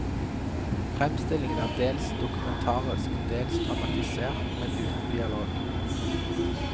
Fremstillingen er dels dokumentarisk, dels dramatisert, men uten dialog.